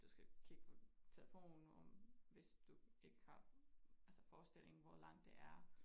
Du skal kigge på telefonen hvis du ikke har altså forestillingen hvor langt det er